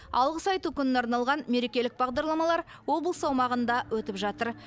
алғыс айту күніне арналған мерекелік бағдарламалар облыс аумағында өтіп жатыр